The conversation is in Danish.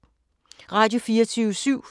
Radio24syv